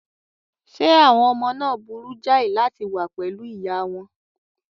Ṣé àwọn ọmọ náà burú jáì láti wà pẹ̀lú ìyá wọn?